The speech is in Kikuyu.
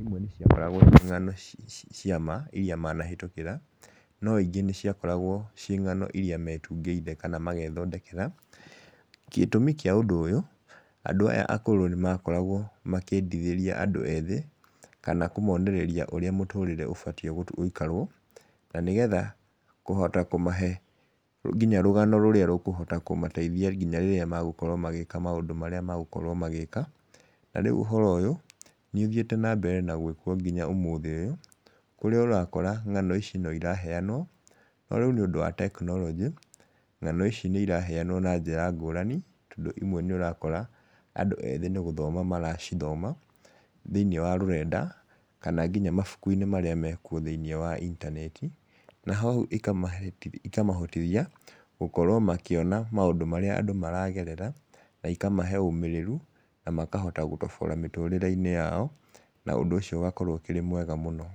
imwe nĩ ciakoragwo irĩ ng'ano cia ma iria manahĩtũkĩra, no ingĩ nĩ ciakoragwo ciĩ ng'ano iria metungĩire kana magethondekera. Gĩtũmi kĩa ũndũ ũyũ, andũ aya akũrũ nĩ makoragwo makĩendithĩria andũ ethĩ, kana kũmonereria ũrĩa mũtũrĩre ũbatie gũikarwo, na nĩgetha kũhota kũmahe nginya rũgano rũrĩa rũkũhota kũmateithia nginya rĩrĩa magũkorwo magĩka maũndũ marĩa magũkorwo magĩka, na rĩu ũhoro ũyũ, nĩ ũthiĩte na mbere na gwĩkwo nginya ũmũthĩ ũyũ, kũrĩa ũrakora ng'ano ici no iraheanwo, no rĩu nĩũndũ wa tekinoronjĩ, ng'ano ici nĩ iraheanwo na njĩra ngũrani, tondũ imwe nĩ ũrakora andũ ethĩ nĩ gũthoma maracithoma, thĩinĩ wa rũrenda, kana nginya mabuku-inĩ marĩa mekwo thĩinĩ wa intaneti, na hau ĩkamahe ĩkamahotithia gũkorwo makĩona maũndũ marĩa andũ maragerera, na ikamahe ũmĩrĩru na makahota gũtobora mĩtũrĩreinĩ yao, na ũndũ ũcio ũgakorwo wĩ mwega mũno.